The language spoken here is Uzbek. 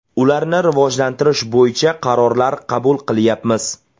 Ularni rivojlantirish bo‘yicha qarorlar qabul qilyapmiz.